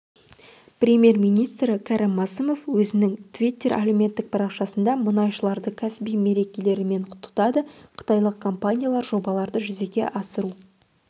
премьер-министрі кәрім мәсімов өзінің твиттер әлеуметтік парақшасында мұнайшыларды кәсіби мерекелерімен құттықтады қытайлық компаниялар жобаларды жүзеге асыру